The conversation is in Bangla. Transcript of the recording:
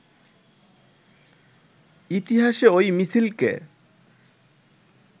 ইতিহাসে ঐ মিছিলকে